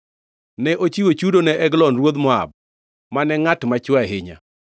Ne ochiwo chudo ne Eglon ruodh Moab, mane ngʼat machwe ahinya.